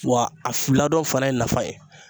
Wa a fila dɔ fana ye nafa ye